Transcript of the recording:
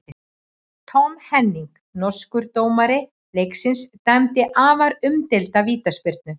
Tom Henning, norskur dómari leiksins dæmdi afar umdeilda vítaspyrnu.